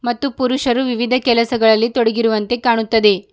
ಮತ್ತು ಪುರುಷರು ವಿವಿಧ ಕೆಲಸಗಳಲ್ಲಿ ತೊಡಗಿರುವಂತೆ ಕಾಣುತ್ತದೆ.